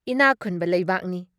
ꯏꯅꯤꯛ ꯈꯨꯟꯕ ꯂꯩꯕꯥꯛꯅꯤ ꯫